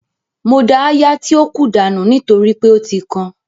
Mo da áyá tí ó kù dànù nítorí pé ó ti kan